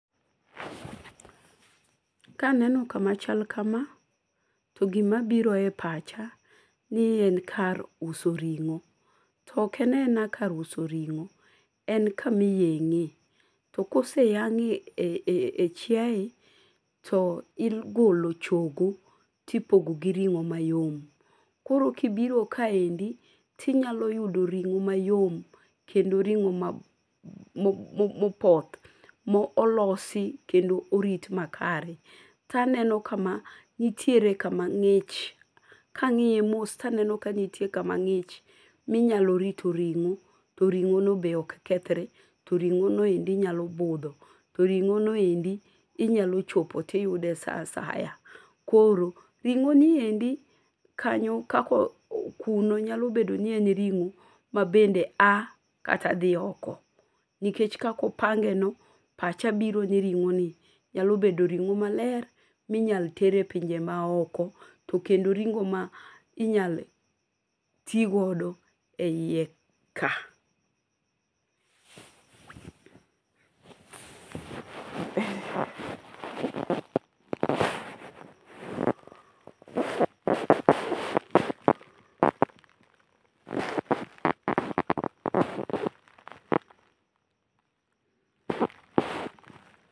Kaneno kama chal kama to gima biro e pacha ni en kar uso ring'o. To ok ena ena kar uso ring'o, en kamiyeng'e. To kose yang'e e chieye to igolo chogo tipogo gi ring'o mayom. Koro kibiro kaendi tinyalo yudo ring'o mayom kendo ring'o mopoth molosi kendo orit makare. Kaneno kama nitiere kama ng'inch. Kang'iye mos to aneno kama ng'iny minyalo rito ring'o. To ring'o no be ok kethre. To ring'o noendi nyalo budho. To ring'o no endi inyalo chopo tiyudo sa asaya. Koro ring'o niendi kanyo kako kuno nyalo bedo ni ene ring'o mabende a kata dhi oko. Nikech kakopange no pacha biro ni ring'o ni nyalobedo ring'o maler minyalo ter e pinje ma oko. To kendo ring'o minyalo ti godo e yie ka.